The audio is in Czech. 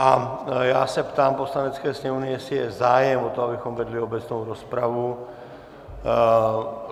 A já se ptám Poslanecké sněmovny, jestli je zájem o to, abychom vedli obecnou rozpravu.